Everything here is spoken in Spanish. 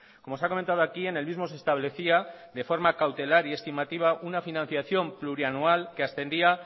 como se ha comentado aquí en el mismo se establecía de forma cautelar y estimativa una financiación plurianual que ascendía